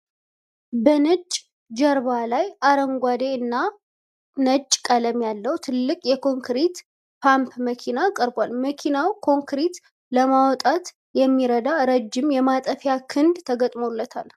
በነጭ ጀርባ ላይ አረንጓዴ እና ነጭ ቀለም ያለው ትልቅ የኮንክሪት ፓምፕ መኪና ቀርቧል። መኪናው ኮንክሪት ለማውጣት የሚረዳ ረጅም የማጠፊያ ክንድ ተገጥሞለታል።